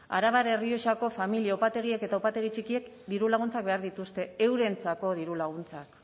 arabar errioxako familia upategiek eta upategi txikiek diru laguntzak behar dituzte eurentzako diru laguntzak